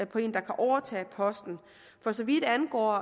på en der kan overtage posten for så vidt angår